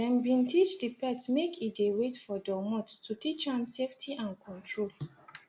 they been teach the pet make e de wait for domot to teach am safety and control